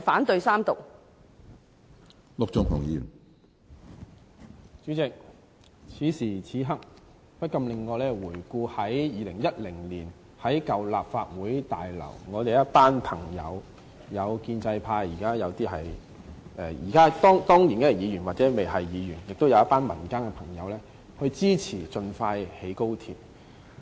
主席，此時此刻，不禁令我回想起2010年於舊立法會大樓，我們一群朋友，包括當年是議員或尚未出任議員的建制派同事及一群民間朋友，支持盡快興建高鐵。